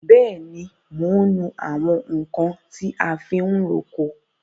Bẹẹni, mo ń nu àwọn nkan ti a fi ń roko.